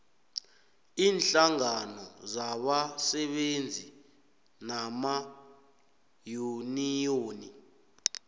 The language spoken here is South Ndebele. iinhlangano zabasebenzi namayuniyoni